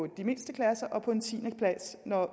de mindste klasser og på en tiende plads når